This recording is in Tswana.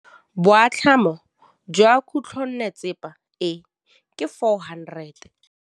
Boatlhamô jwa khutlonnetsepa e, ke 400.